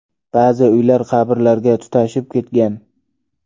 Ba’zi uylar qabrlarga tutashib ketgan.